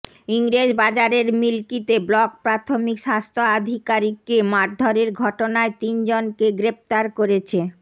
ইংরেজবাজারের মিল্কিতে ব্লক প্রাথমিক স্বাস্থ্য আধিকারিককে মারধরের ঘটনায় তিন জনকে গ্রেফতার করেছে